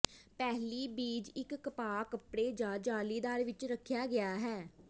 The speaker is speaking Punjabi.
ਪਹਿਲੀ ਬੀਜ ਇੱਕ ਕਪਾਹ ਕੱਪੜੇ ਜ ਜਾਲੀਦਾਰ ਵਿੱਚ ਰੱਖਿਆ ਗਿਆ ਹੈ